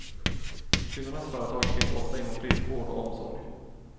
Kvinnornas företag finns ofta inom friskvård och omsorg.